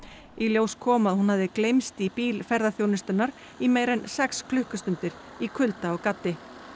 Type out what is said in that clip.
í ljós kom að hún hafði gleymst í bíl ferðaþjónustunnar í meira en sex klukkustundir í kulda og gaddi